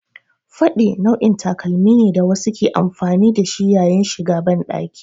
Faɗe nau'in takalmi ne da wasu ke amfani da shi yayin shiga banɗaki.